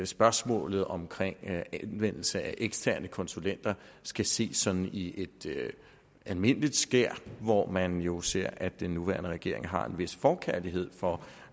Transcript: spørgsmålet om anvendelse af eksterne konsulenter skal ses sådan i et almindeligt skær hvor man jo ser at den nuværende regering har en vis forkærlighed for